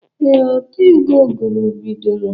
Ee, otego ụgụrụ bidoro